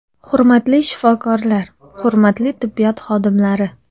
Hurmatli shifokorlar, hurmatli tibbiyot xodimlari!